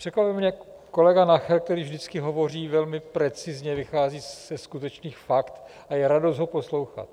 Překvapil mě kolega Nacher, který vždycky hovoří velmi precizně, vychází ze skutečných faktů a je radost ho poslouchat.